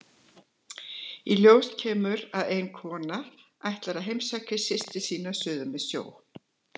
Í ljós kemur að ein kona ætlar að heimsækja systur sína suður með sjó.